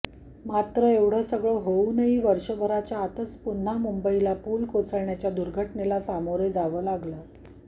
परंतु एवढं सगळं होऊनही वर्षभराच्या आतच पुन्हा मुंबईला पूल कोसळण्याच्या दुर्घटनेला सामोरे जावं लागलं